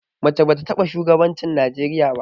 Mace ba ta taɓa shugabancin Najeriya ba.